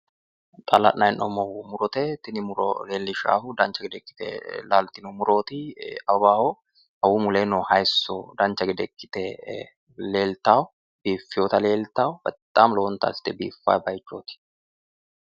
Xa la'nayi hee'noommohu murote tini muro leellishshaahu dancha gede laaltino murooti awawaho awawu muleno hayiisso dancha gede ikkite leeltawo biiffewoota leeltawo bexaami lowonta assite biiffawo bayichooti.